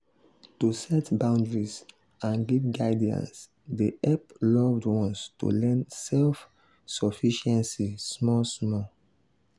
to set boundaries and give guidance dey hep loved ones to learn self-sufficiency small small.